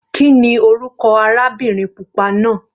Kíni orúkọ arábìnrin pupa náà?